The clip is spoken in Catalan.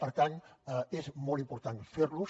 per tant és molt important fer los